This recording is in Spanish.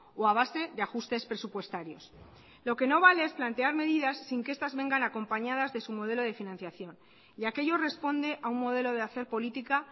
o a base de ajustes presupuestarios lo que no vale es plantear medidas sin que estas vengan acompañadas de su modelo de financiación y aquello responde a un modelo de hacer política